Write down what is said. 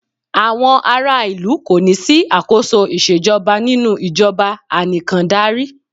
Àwọn ará ìlú kò ní sí àkóso ìṣèjọba nínú ìjọbà ànìkàndarí.